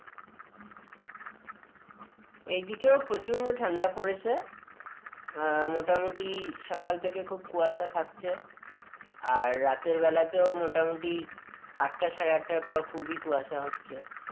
এই দিকেও প্রচন্ড ঠান্ডা পড়েছে আহ মোটামুটি সকাল থেকে খুব কুশায়া থাকছে আর রাতের বেলাতেও মোটামুটি আটটা সাড়ে আটটার পর খুবই কুয়াশা হচ্ছে,